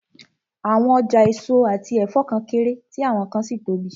Àwọn ọjà èso àti ẹ̀fọ́ kan kéré, tí àwọn kan sì tóbi